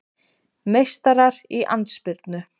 Meistarar í andspyrnu